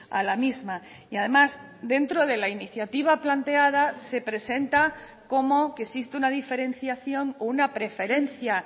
a la misma y además dentro de la iniciativa planteada se presenta como que existe una diferenciación o una preferencia